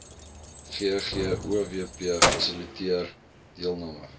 ggowp fasiliteer deelname